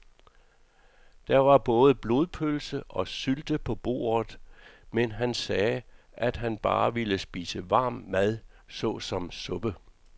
Der var både blodpølse og sylte på bordet, men han sagde, at han bare ville spise varm mad såsom suppe.